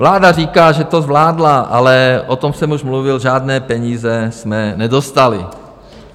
Vláda říká, že to zvládla, ale o tom jsem už mluvil, žádné peníze jsme nedostali.